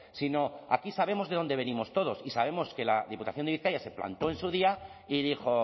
sino aquí sabemos de dónde venimos todos y sabemos que la diputación de bizkaia se plantó en su día y dijo